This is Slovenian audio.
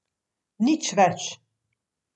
Nič več.